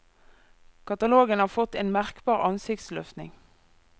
Katalogen har fått en merkbar ansiktsløftning.